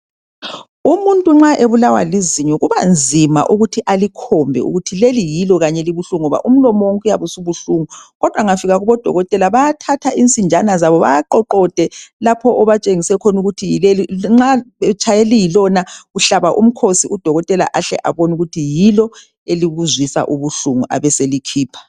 Umuntu nxa ebulawa lizulu kubanzima ukuthi alikhombe ukuthi leli yilo kanye elibuhlungu ngoba umlomo wonke uyabe subuhlungu kodwa engafika kubodokotela bayathatha insinjana zabo bawawoqode lapho obatshengise khona ukuthi yilo. Nxa betshaye eliyilona uhlaba umkhosi udokotela ahle abone ukuthi yilo elikuzwisa ubuhlungu abeselikhipha .